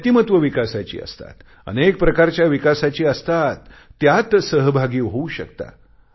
व्यक्तिमत्व विकासाची असतात अनेक प्रकारच्या विकासाची असतात त्यात सहभागी होऊ शकता